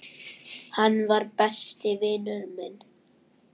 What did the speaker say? Hann var. besti vinur minn.